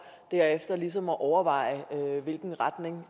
derefter ligesom at overveje hvilken retning